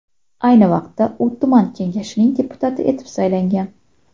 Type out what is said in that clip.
Ayni vaqtda u tuman kengashining deputati etib saylangan.